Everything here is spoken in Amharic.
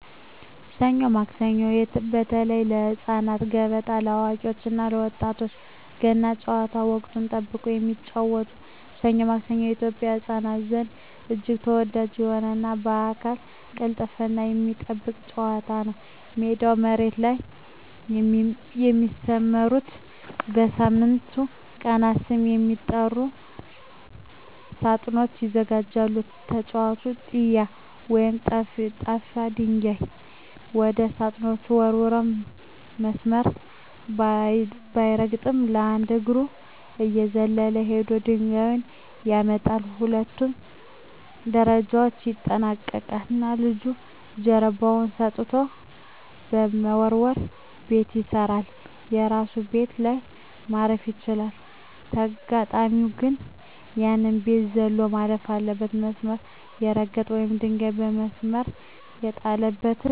ሰኞ ማክሰኞ (በተለይ ለህፃናት)፣ገበጣ (ለአዋቂዎች እና ለወጣቶች)፣ ገና ጨዋታ (ወቅትን ጠብቆ የሚጫወቱት) "ሰኞ ማክሰኞ" በኢትዮጵያ ህፃናት ዘንድ እጅግ ተወዳጅ የሆነና የአካል ቅልጥፍናን የሚጠይቅ ጨዋታ ነው። ሜዳው መሬት ላይ በሚሰመሩና በሳምንቱ ቀናት ስም በሚጠሩ ሳጥኖች ይዘጋጃል። ተጫዋቹ "ጢያ" ወይም ጠፍጣፋ ድንጋይ ወደ ሳጥኖቹ ወርውሮ፣ መስመር ሳይረግጥ በአንድ እግሩ እየዘለለ ሄዶ ድንጋዩን ያመጣል። ሁሉንም ደረጃዎች ያጠናቀቀ ልጅ ጀርባውን ሰጥቶ በመወርወር "ቤት ይገዛል"። የራሱ ቤት ላይ ማረፍ ሲችል፣ ተጋጣሚው ግን ያንን ቤት ዘሎ ማለፍ አለበት። መስመር የረገጠ ወይም ድንጋዩ ከመስመር የወጣበት ተጫዋች "ሞተ" ተብሎ ተራውን ያስረክባል። ይህ ጨዋታ ልጆች ሚዛናቸውን እንዲጠብቁና በህግ መመራትን በደስታ እንዲለማመዱ ይረዳል።